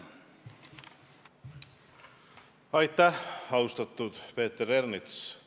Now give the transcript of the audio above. Aitäh, austatud Peeter Ernits!